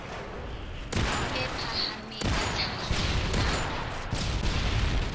e phahameng ya tlhahiso ya